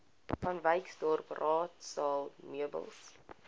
vanwyksdorp raadsaal meubels